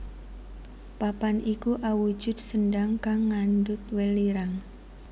Papan iku awujud sendhang kang ngandhut welirang